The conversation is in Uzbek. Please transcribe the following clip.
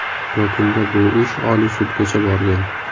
Yakunda bu ish Oliy sudgacha borgan.